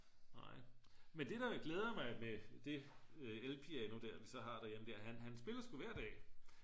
nej men det der glæder mig med det elpiano der vi så har derhjemme han spiller sgu hver dag